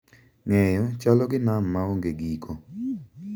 Ng’eyo chalo gi nam ma onge giko.